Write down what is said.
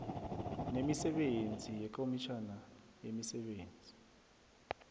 nemisebenzi yekomitjhana yemisebenzi